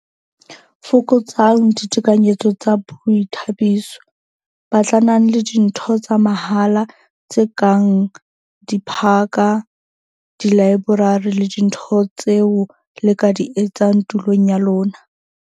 Fokotsang ditekanyetso tsa boithabiso - Batlanang le dintho tsa mahala, tse kang diphaka, dilaeborari le dintho tseo le ka di etsang tulong ya lona.